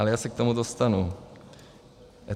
Ale já se k tomu dostanu.